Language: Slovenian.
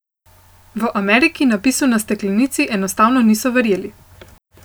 V Ameriki napisu na steklenici enostavno niso verjeli.